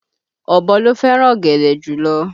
Ọ̀bọ ló fẹ́ràn ọ̀gẹ̀dẹ̀ jùlọ